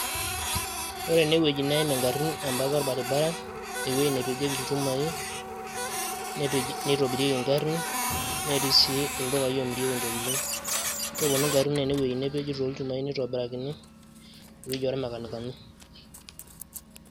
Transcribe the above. Ore ene wueji neim ingarin ebata orbaribara, ewueji nepejieki ilchumai, nepej nitobirieki ngarin ,netii sii ildukai oomirieki ntokitin ,keponu ngarin ene wueji nepeji too ilchumai nitobirakini ewueji oo rmakenikani.